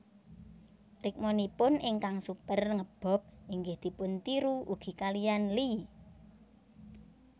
Rikmanipun ingkang super nge bob inggih dipun tiru ugi kaliyan Lee